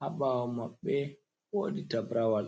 haɓawo maɓɓe wodi tabrawal.